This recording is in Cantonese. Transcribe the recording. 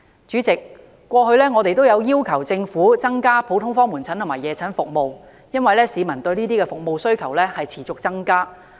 主席，我們過去也要求政府增加普通科門診和夜診服務，因為市民對有關服務的需要持續增加。